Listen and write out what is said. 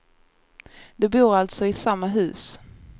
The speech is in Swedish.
De bor alltså i samma hus.